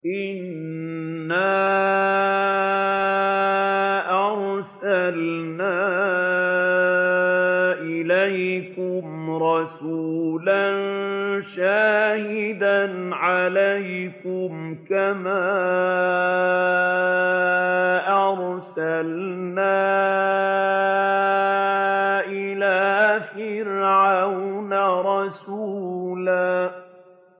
إِنَّا أَرْسَلْنَا إِلَيْكُمْ رَسُولًا شَاهِدًا عَلَيْكُمْ كَمَا أَرْسَلْنَا إِلَىٰ فِرْعَوْنَ رَسُولًا